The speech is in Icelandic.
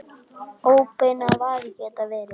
Það þjakaði ekki Magnús.